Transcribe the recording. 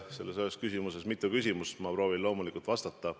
Selles ühes küsimuses oli mitu küsimust, ma proovin loomulikult vastata.